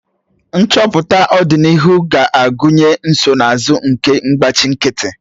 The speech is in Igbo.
Nchọpụta n'ọdịnihu ga-agụnye nsonaazụ nke ịgbachi nkịtị